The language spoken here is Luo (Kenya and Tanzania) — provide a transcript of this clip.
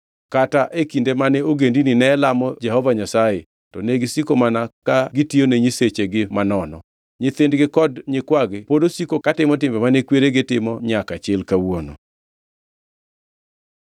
Kata e kinde mane ogendini ne lamo Jehova Nyasaye, to negisiko mana ka gitiyone nyisechegi manono. Nyithindgi kod nyikwagi pod osiko katimo timbe mane kweregi timo nyaka chil kawuono.